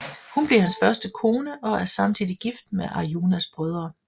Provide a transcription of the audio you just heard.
Hun bliver hans første kone og er samtidig gift med Arjunas brødre